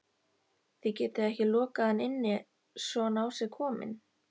Þið getið ekki lokað hann inni svona á sig kominn